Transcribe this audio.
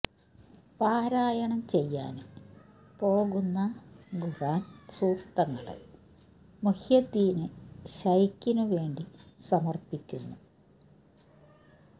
പാരായണം ചെയ്യാന് പോകുന്ന ഖുര് ആന് സൂക്തങ്ങള് മുഹ്യിദ്ദീന് ശൈഖിനു വേണ്ടി സമര്പ്പിക്കുന്നു